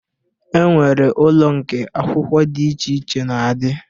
E nwere ụlọ nke akwụkwọ dị iche iche na-adị